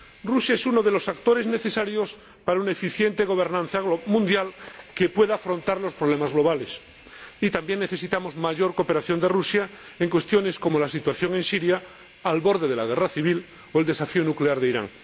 Rusia es uno de los actores necesarios para una eficiente gobernanza mundial que pueda afrontar los problemas globales, y también necesitamos mayor cooperación de Rusia en cuestiones como la situación en Siria, al borde de la guerra civil, o el desafío nuclear de Irán.